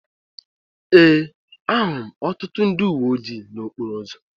Ee, ahụrụ m ọtụtụ ndị uwe ojii n'okporo ụzọ